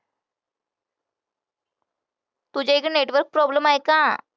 तुझ्या इथे network problem आहे का?